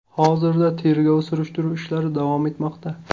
Hozirda tergov-surishtiruv ishlari davom etmoqda.